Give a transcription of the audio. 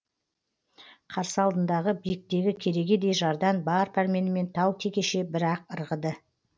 қарсы алдындағы биіктігі керегедей жардан бар пәрменімен тау текеше бір ақ ырғыды